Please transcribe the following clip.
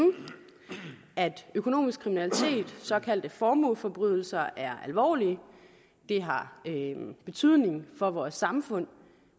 at økonomisk kriminalitet såkaldte formueforbrydelser er alvorlige det har betydning for vores samfund